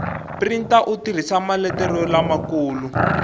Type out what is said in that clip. printa u tirhisa maletere lamakulu